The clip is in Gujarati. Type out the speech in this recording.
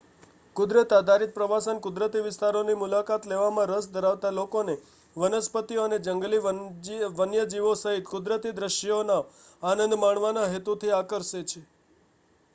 કુદરત-આધારિત પ્રવાસન કુદરતી વિસ્તારોની મુલાકાત લેવામાં રસ ધરાવતા લોકોને વનસ્પતિઓ અને જંગલી વન્યજીવો સહિત કુદરતી દૃશ્યોનો આનંદ માણવાના હેતુથી આકર્ષે છે